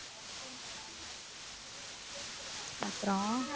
அப்புறம்